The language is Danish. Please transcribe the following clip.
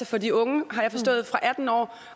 for de unge fra atten år